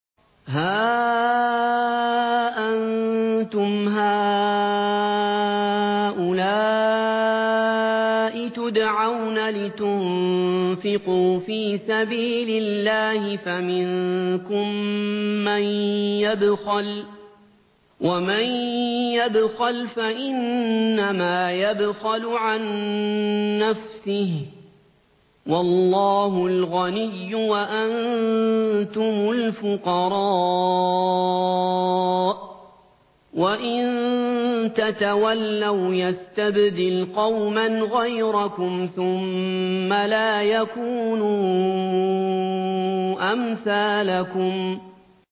هَا أَنتُمْ هَٰؤُلَاءِ تُدْعَوْنَ لِتُنفِقُوا فِي سَبِيلِ اللَّهِ فَمِنكُم مَّن يَبْخَلُ ۖ وَمَن يَبْخَلْ فَإِنَّمَا يَبْخَلُ عَن نَّفْسِهِ ۚ وَاللَّهُ الْغَنِيُّ وَأَنتُمُ الْفُقَرَاءُ ۚ وَإِن تَتَوَلَّوْا يَسْتَبْدِلْ قَوْمًا غَيْرَكُمْ ثُمَّ لَا يَكُونُوا أَمْثَالَكُم